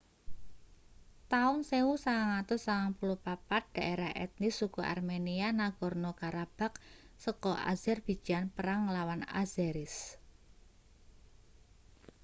taun 1994 daerah etnis suku armenia nagorno-karabakh saka azerbijan perang nglawan azeris